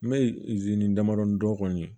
N bɛ damadɔni dɔn kɔni